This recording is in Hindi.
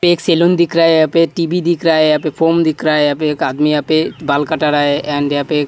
पे एक सैलून दिख रहा है यहाँ पे टीवी दिख रहा है यहाँ पे फोन दिख रहा है यहाँ पे । एक आदमी यहाँ पे बाल कटा रहा है एंड यहाँ पे एक --